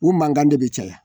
U mankan de bi caya